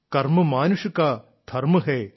കർമ് മാനുഷ് കാ ധർമ്മ ഹെ